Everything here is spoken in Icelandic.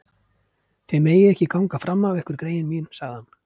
Þið megið ekki ganga fram af ykkur greyin mín sagði hann.